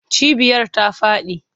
Cibiyar ta faɗi.